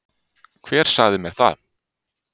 Hver sagði mér það